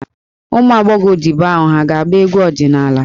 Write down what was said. Ụmụ agbọghọ odibo ahụ hà ga-agba egwu ọdịnala?